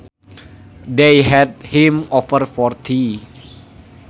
They had him over for tea